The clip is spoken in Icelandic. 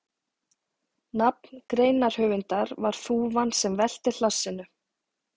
Nafn greinarhöfundar var þúfan sem velti hlassinu.